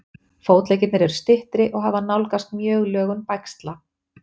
Fótleggirnir eru styttri og hafa nálgast mjög lögun bægsla.